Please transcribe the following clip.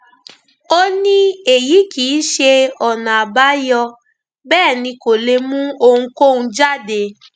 ó ní èyí kì í ṣe ọnà àbáyọ bẹẹ ni kò lè mú ohunkóhun jáde